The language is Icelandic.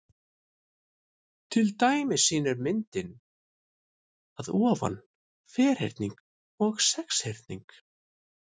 Til dæmis sýnir myndin að ofan ferhyrning og sexhyrning.